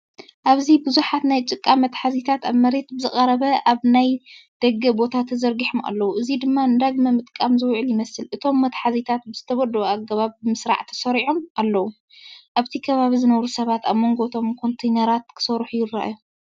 ኣብዚ ብዙሓት ናይ ጭቃ መትሓዚታት ኣብ መሬት ብቐረባ ኣብ ናይ ደገ ቦታ ተዘርጊሖም ኣለዉ፡ እዚ ድማ ንዳግመ-ምጥቃም ዝውዕሉ ይመስል። እቶም መትሓዚታት ብዝተወደበ ኣገባብ ብመስርዕ ተሰሪዖም ኣለዉ። ኣብቲ ከባቢ ዝነብሩ ሰባት ኣብ መንጎ እቶም ኮንተይነራት ክሰርሑ ይረኣዩ።